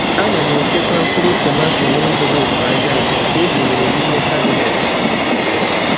Ana m echekwa mkpụrụ tomato n’envelopu aja aja nke etinyere n’ime kabinet kichin.